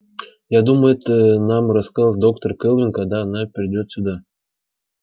я думаю это нам расскажет доктор кэлвин когда она придёт сюда